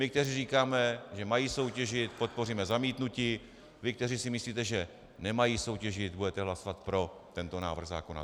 My, kteří říkáme, že mají soutěžit, podpoříme zamítnutí, vy, kteří si myslíte, že nemají soutěžit, budete hlasovat pro tento návrh zákona.